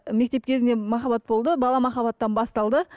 мектеп кезінде махаббат болды бала махаббаттан басталды